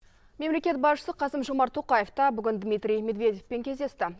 мемлекет басшысы қасым жомарт тоқаев та бүгін дмитрий медведевпен кездесті